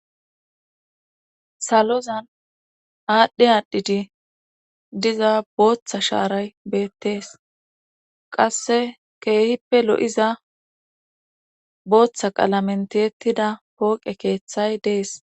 salozan aadhdhe aadhidi diza booththa shaaray beettees qasse keehippe lo7iza booththa qalamentettida pooqe keeththay dees